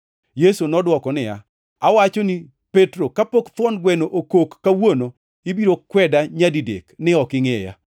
Yesu nodwoko niya, “Awachoni, Petro, kapok thuon gweno okok kawuono, ibiro kweda nyadidek ni ok ingʼeya.”